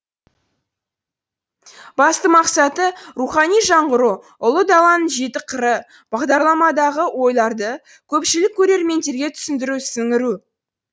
басты мақсаты рухани жаңғыру ұлы даланың жеті қыры бағдарламадағы ойларды көпшілік көрерменге түсіндіру сіңіру